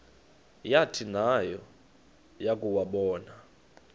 yathi nayo yakuwabona